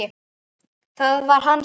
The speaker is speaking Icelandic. Það var hans sátt!